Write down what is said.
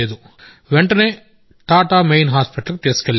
వెంటనే Tata main hospital కి తీసుకెళ్లాం